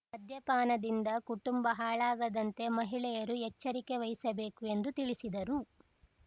ಮದ್ಯಪಾನದಿಂದ ಕುಟುಂಬ ಹಾಳಾಗದಂತೆ ಮಹಿಳೆಯರು ಎಚ್ಚರಿಕೆ ವಹಿಸಬೇಕು ಎಂದು ತಿಳಿಸಿದರು